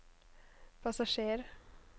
passasjer